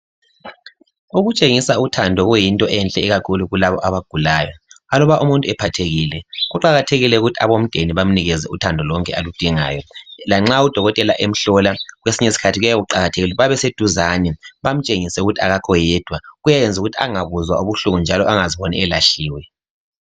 Ukutshengisa uthando kuyinto enhle ikakhulu kulabo abagulayo. Aluba umuntu ephathekile, kuqakathekile ukuthi abomdeni bamnikeze uthando lonke aludingayo. Lanxa udokotela emhlola, kwesinye usikhathi kuyabe kuqakathekile ukuthi babeseduzane. Bamtshengise ukuthi akakho yedwa. Kuyayenza ukuthi angabuzwa ubuhlungu njalo angaziboni elahliwe.